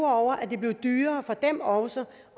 over at det også